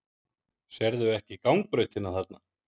Sérðu ekki gangbrautina þarna?